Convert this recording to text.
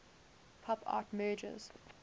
pop art merges